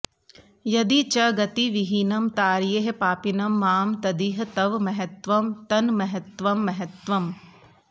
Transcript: यदि च गतिविहीनं तारयेः पापिनं मां तदिह तव महत्त्वं तन्महत्त्वं महत्त्वम्